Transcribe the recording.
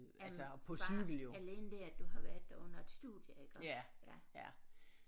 Øh bare alene det at du har været der under et studie iggå ja